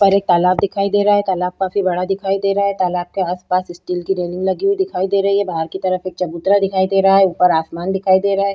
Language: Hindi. पर एक तालाब दिखाई दे रहा है तालाब काफी बड़ा दिखाई दे रहा है तालाब के आसपास स्टील की रेलिंग लगी हुई दिखाई दे रही है बाहर की तरफ एक चबूतरा दिखाई दे रहा है ऊपर आसमान दिखाई दे रहा है।